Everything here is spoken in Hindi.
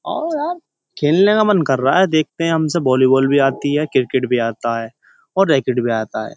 आओ यार खेलने का मन कर रहा। देखते हम सब वॉलीबाल भी आती है क्रिकेट भी आता है और राकेट भी आता है।